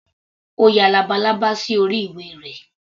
Ó ya labalábá sí orí ìwé rẹ̀.